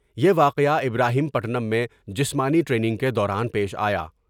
یہ واقعہ ابراہیم پٹم میں جسمانی ٹریننگ کے دوران پیش آیا ۔